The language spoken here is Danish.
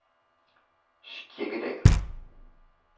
Skjeggedal